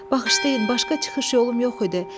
Bağışlayın, başqa çıxış yolum yox idi.